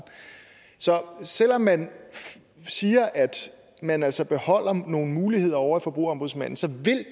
så selv om man siger at man altså beholdere nogle muligheder ovre hos forbrugerombudsmanden så